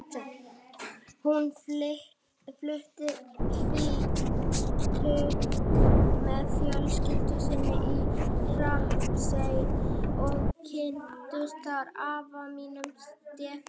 Hún fluttist tvítug með fjölskyldu sinni í Hrappsey og kynntist þar afa mínum, Stefáni.